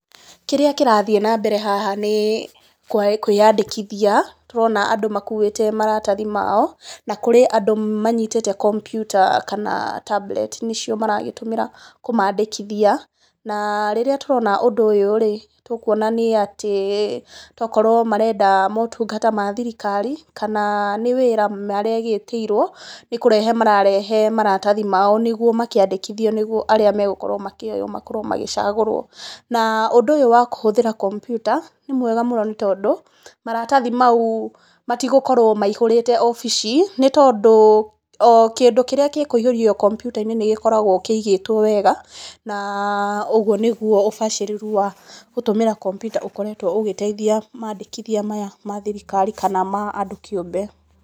Kĩrĩa kĩrathiĩ na mbere haha nĩ kwĩyandĩkithia, tũrona andũ makuĩte maratathi mao, na kũrĩ andũ manyitĩte kompyuta kana tablet nĩ cio mara gíĩtũmĩra kũmandĩkithia. Na rĩrĩa tũrona ũndũ ũyũ-rĩ, tũkuona nĩ atĩ tokorwo marenda motungata ma thirikar,i kana nĩ wĩra maragĩtĩirwo nĩ kũrehe mararehe maratathi mao nĩ guo makĩandĩkithio nĩ guo arĩa megũkorwo makĩoywo makorwo magĩcagũrwo. Na ũndũ ũyũ wa kũhũthĩra kompyuta nĩ wega mũno nĩ tondũ, maratathi mau matigũkorwo maihũrĩte wabici nĩ tondũ o kĩndũ kĩrĩa kĩkũihũrio kompyuta-inĩ nĩ gĩkoragwo kĩigĩtwo wega, na ũguo nĩguo ũbacĩrĩru wa gũtũmĩra kompyuta ũkoretwo ũgĩteithia mandĩkithia maya ma thirikari kana ma andũ kĩũmbe.